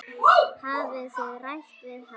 Hafið þið rætt við hann?